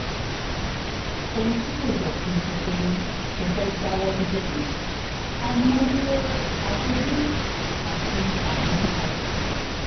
ohun tí kò jẹ́ kí n sọ pé mo fẹ́ẹ́ jáwọ́ níbẹ̀ nìyẹn àìmọye afọ́júrì àti adójúkọ